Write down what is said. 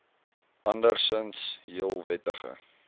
andersinds heel wettige